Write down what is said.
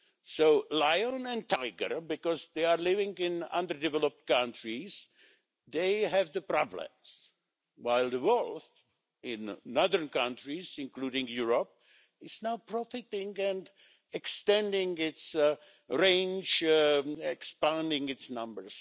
So lions and tigers, because they are living in underdeveloped countries, they have the problems, while the wolf, in northern countries, including Europe, is now protected and extending its range, expanding its numbers.